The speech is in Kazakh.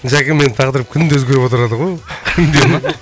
жәке менің тағдырым күнде өзгеріп отырады ғой ол